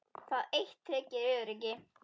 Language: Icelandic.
Það eitt tryggir öryggi.